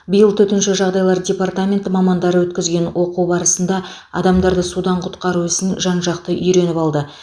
биыл төтенше жағдайлар департаменті мамандары өткізген оқу барысында адамдарды судан құтқару ісін жан жақты үйреніп алды